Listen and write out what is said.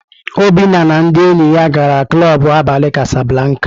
Obinna na ndị enyi ya gara klọb abalị kásáblákà.